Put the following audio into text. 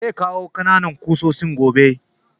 Zai kawo ƙananan ƙusoshin gobe